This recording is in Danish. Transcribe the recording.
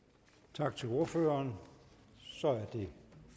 tak til ordføreren så er det